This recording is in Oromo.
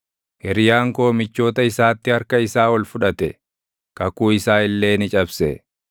Hiriyaan koo michoota isaatti harka isaa ol fudhate; kakuu isaa illee ni cabse.